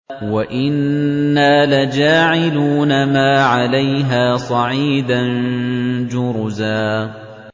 وَإِنَّا لَجَاعِلُونَ مَا عَلَيْهَا صَعِيدًا جُرُزًا